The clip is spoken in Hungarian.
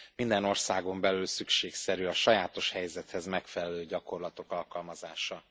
Minden országon belül szükségszerű a sajátos helyzethez megfelelő gyakorlatok alkalmazása.